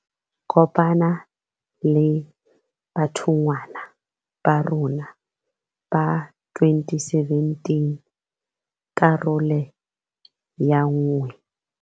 Kopana le bathonngwa ba rona ba 2017. Karolo ya 1.